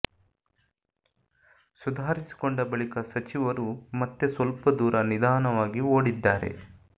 ಸುಧಾರಿಸಿಕೊಂಡ ಬಳಿಕ ಸಚಿವರು ಮತ್ತೆ ಸ್ವಲ್ಪ ದೂರ ನಿಧಾನವಾಗಿ ಓಡಿದ್ದಾರೆ